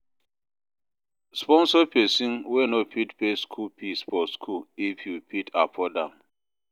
Sponsor persin wey no fit pay school fees for school if you fit afford am